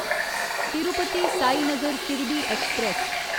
Tirupati Sainagar Shirdi express